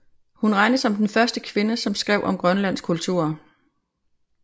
Hun regnes som den første kvinde som skrev om grønlands kultur